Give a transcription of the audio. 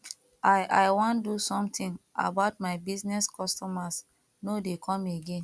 i i wan do something about my business customers no dey come again